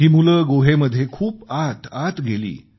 ही मुलं गुहेमध्ये खूप आत आत गेली